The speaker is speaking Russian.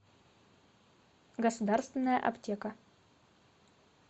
государственная аптека